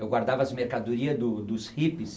Eu guardava as mercadorias do dos hippies